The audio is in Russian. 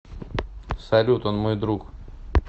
салют он мой друг